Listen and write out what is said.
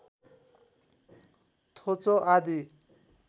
थोचो आदि